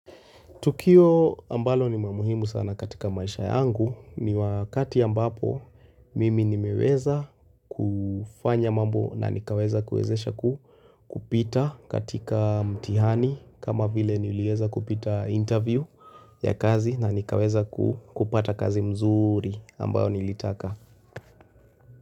Tukio ambalo ni la muhimu sana katika maisha yangu ni wakati ambapo mimi nimeweza kufanya mambo na nikaweza kuwezesha kupita katika mtihani kama vile nilieza kupita interview ya kazi na nikaweza kupata kazi mzuri ambayo nilitaka.